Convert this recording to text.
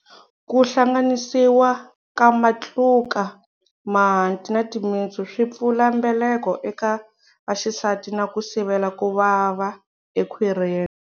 Ku hlanganisiwa kamatluka, mahanti na timitsu swi pfula mbeleko eka vaxisati na ku sivela ku vava ekhwirini.